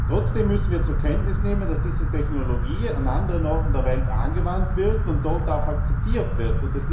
Trotzdem müssen wir zur Kenntnis nehmen, dass diese Technologie an anderen Orten der Welt angewandt wird und dort auch akzeptiert wird.